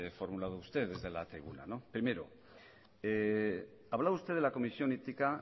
formulado usted desde la tribuna primero hablaba usted de la comisión ética